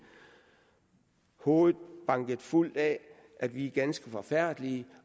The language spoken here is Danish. hovedet banket fuldt af at vi er ganske forfærdelige